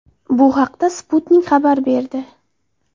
Bu haqda Sputnik xabar berdi.